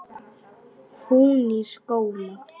Hún í skóla.